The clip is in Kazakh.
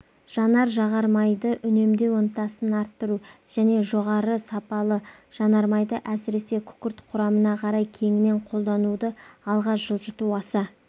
жанар-жағар майды үнемдеу ынтасын арттыру және жоғары сапалы жанар майды әсіресе күкірт құрамына қарай кеңінен қолдануды алға жылжыту аса